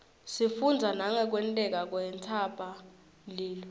sifundza nangekwenteka kwentsaba mlilo